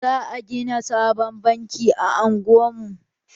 Za a gina sabon banki a unguwar mu.